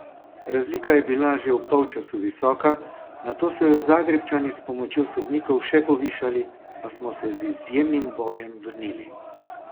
Razlika je bila že ob polčasu visoka, nato so jo Zagrebčani s pomočjo sodnikov še povišali, a smo se z izjemnim bojem vrnili.